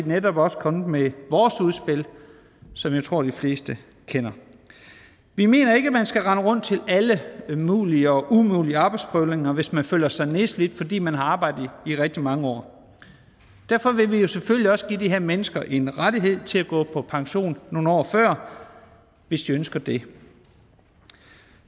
netop også kommet med vores udspil som jeg tror de fleste kender vi mener ikke at man skal rende rundt til alle mulige og umulige arbejdsprøvninger hvis man føler sig nedslidt fordi man har arbejdet i rigtig mange år derfor vil vi jo selvfølgelig også give de her mennesker en ret til at gå på pension nogle år før hvis de ønsker det